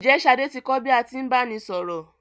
Ǹjẹ́ Ṣadé ti kò bí a tí ń báni sọ̀rọ̀?